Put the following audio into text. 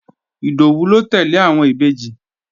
Ìdòwú ló tẹ́lẹ̀ àwọn Ìbejì